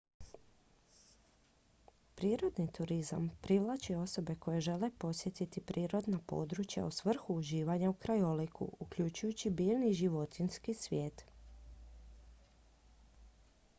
prirodni turizam privlači osobe koje žele posjetiti prirodna područja u svrhu uživanja u krajoliku uključujući biljni i životinjski svijet